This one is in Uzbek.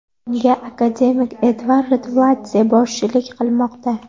Unga akademik Edvard Rtveladze boshchilik qilmoqda.